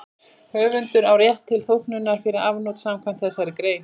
Höfundur á rétt til þóknunar fyrir afnot samkvæmt þessari grein.